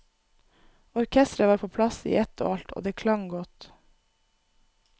Orkestret var på plass i ett og alt, og det klang godt.